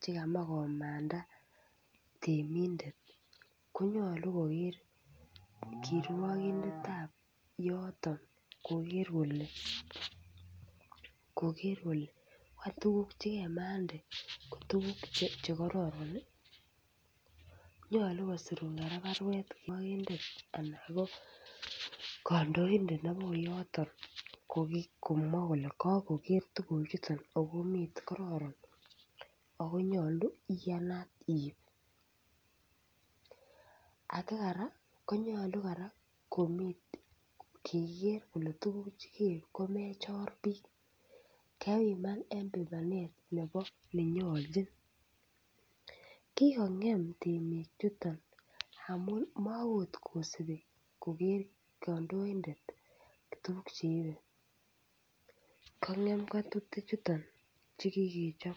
chemachekomanda temindet konyolu kokeer kirwokindetab yoto koker kole tuguk chekemande ko tuguk chekororon. Nyolu kora kosirun baruet kandoindet nebo yoto komwa kole kakoker tuguchuton akokoron akonyolu iib. Akara konyolu kora kole tuguk chekeib komeechor biik akelipan lipanet nebo nenyoljin. kikong'em temichuton amu maakot kosubi koker kandoindet tuguk cheiben. Tukchuchuton chekikechop.